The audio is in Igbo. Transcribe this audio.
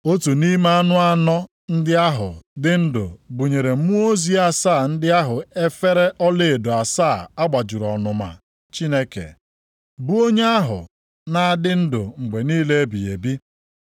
Otu nʼime anụ anọ ndị ahụ dị ndụ bunyere mmụọ ozi asaa ndị ahụ efere ọlaedo asaa a gbajuru ọnụma Chineke, bụ onye ahụ na-adị ndụ mgbe niile ebighị ebi.